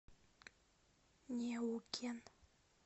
неукен